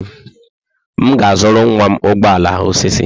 M ga-azụrụ nwa m ụgbọ ala osisi.